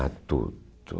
Ah, tudo.